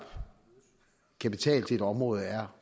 kapital til et område er